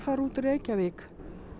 út úr Reykjavík